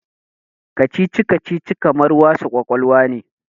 Kacici-kacici kamar wasa ƙwaƙwalwa ne.